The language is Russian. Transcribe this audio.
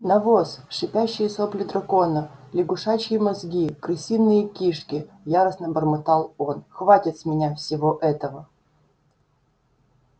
навоз шипящие сопли дракона лягушачьи мозги крысиные кишки яростно бормотал он хватит с меня всего этого